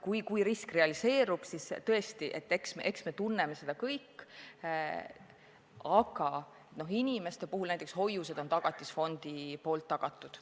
Kui risk realiseerub, siis me tunneme seda kõik, aga inimeste puhul näiteks hoiused on Tagatisfondi poolt tagatud.